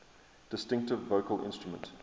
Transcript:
distinctive vocal instrument